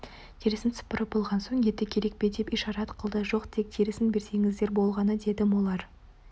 терісін сыпырып болған соң еті керек пе деп ишарат қылды жоқ тек терісін берсеңіздер болғаны дедім олар